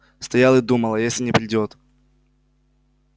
стоял и думал а если не придёт